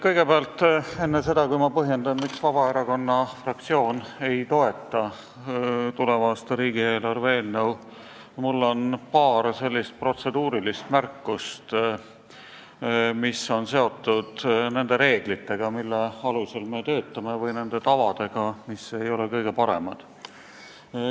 Kõigepealt, enne seda, kui ma põhjendan, miks Vabaerakonna fraktsioon ei toeta tuleva aasta riigieelarve eelnõu, on mul paar protseduurilist märkust, mis on seotud nende reeglitega, mille alusel me töötame, või nende tavadega, mis ei ole kõige paremad.